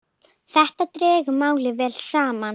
Þetta dregur málið vel saman.